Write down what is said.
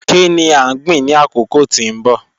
Kini a gbin ni akoko ti n bọ?